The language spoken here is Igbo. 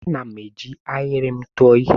Ana m eji ahịrị m tụọ ihe.